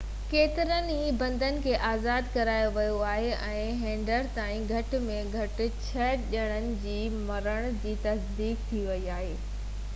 ڪيترن ئي بندين کي آزاد ڪرايو ويو آهي ۽ هينئر تائين گهٽ ۾ گهٽ ڇهہ ڄڻن جي مرڻ جي تصديق ٿي ويئي آهي